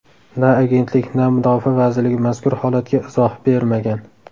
Na agentlik, na mudofaa vazirligi mazkur holatga izoh bermagan.